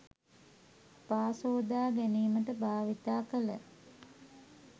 පා සෝදා ගැනීමට භාවිත කළ